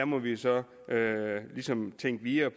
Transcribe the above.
må vi så ligesom tænke videre